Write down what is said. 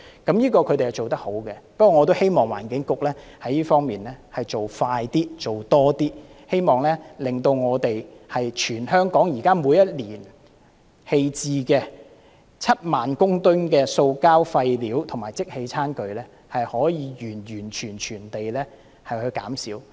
不過，我也希望環境局在這方面做快一點，做多一點，令全香港每年棄置的7萬公噸塑膠廢料及即棄餐具可以完全減少。